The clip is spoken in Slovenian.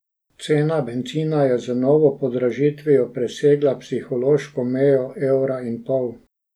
Cena bencina je z novo podražitvijo presegla psihološko mejo evra in pol.